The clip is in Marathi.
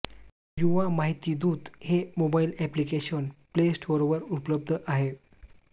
युवा माहिती दूत हे मोबाईल अॅप्लिकेशन प्ले स्टोअरवर उपलब्ध आहे